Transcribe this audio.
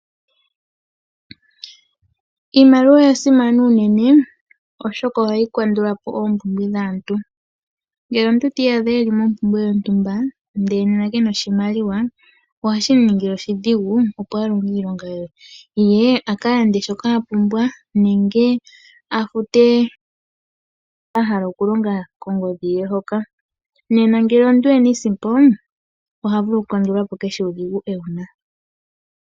Iimaliwa oya simana unene, oshoka ohayi kandula po oompumbwe dhaantu. Ngele omuntu ti iyadha e li mompumbwe yontumba ndele ke na oshimaliwa ohashi mu ningile oshidhigu, opo a longe iilonga ye, ye a ka lande shoka a pumbwa nenge a fute shoka a hala okulonga kongodhi ye. Nena ngele omuntu e na iisimpo oha vulu okukandula po kehe uudhigu e wu na.